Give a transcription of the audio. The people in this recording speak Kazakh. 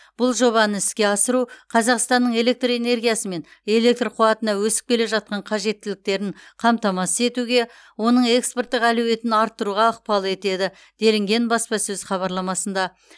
бұл жобаны іске асыру қазақстанның электр энергиясы мен электр қуатына өсіп келе жатқан қажеттіліктерін қамтамасыз етуге оның экспорттық әлеуетін арттыруға ықпал етеді делінген баспасөз хабарламасында